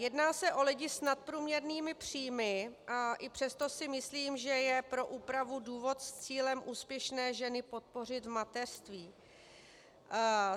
Jedná se o lidi s nadprůměrnými příjmy a i přesto si myslím, že je pro úpravu důvod s cílem úspěšné ženy podpořit v mateřství.